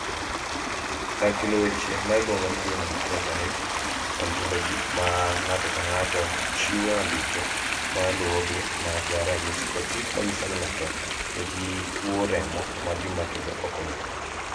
Kar keto weche ma iluongo ni Human Phenotype Ontology mar ng�ato ka ng�ato chiwo andike ma luwogi mag ranyisi kod gik ma nyiso ni ng�ato nigi tuo remo ma gima kelo ok ong'ere.